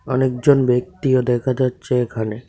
অনেকজন ব্যক্তিও দেখা যাচ্ছে এখানে.